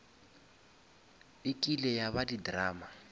ekile ya ba di drama